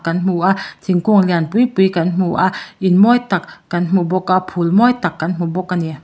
kan hmu a thingkung lian pui pui kan hmu a in mawi tak kan hmu bawk a phul mawi tak kan hmu bawk a ni.